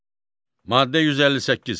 Maddə 158.